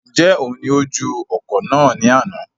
Njẹ oun ní o ju ọ̀kọ̀ náà ní àna?